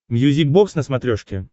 мьюзик бокс на смотрешке